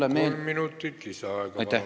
Aitäh!